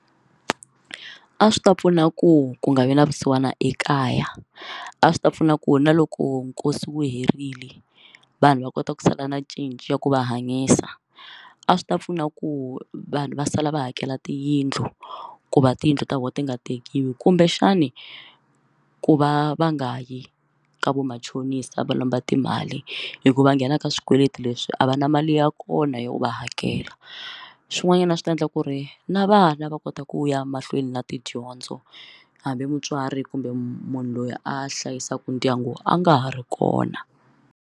A swi ta pfuna ku ku nga vi na vusiwana ekaya a swi ta pfuna ku na loko nkosi wu herile vanhu va kota ku sala na cinci ya ku va hanyisa a swi ta pfuna ku vanhu va sala va hakela tiyindlu ku va tiyindlu ta vona ti nga tekiwi kumbexani u ku va va nga yi ka vamachonisi a va lomba timali hikuva nghena ka swikweleti leswi a va na mali ya kona yo va hakela swin'wanyana swi ta endla ku ri na vana va kota ku ya mahlweni na tidyondzo hambi mutswari kumbe munhu loyi a hlayisaka ndyangu a nga ha ri kona.